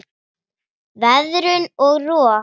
Veðrun og rof